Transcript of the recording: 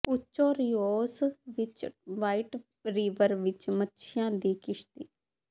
ਓਚੋ Rios ਵਿੱਚ white river ਵਿੱਚ ਮਛੀਆਂ ਦੀ ਕਿਸ਼ਤੀ